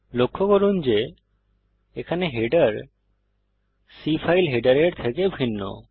লক্ষ্য করুন যে এখানে হেডার C ফাইল হেডারের থেকে ভিন্ন